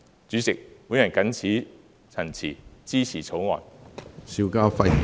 主席，我謹此陳辭，支持《條例草案》。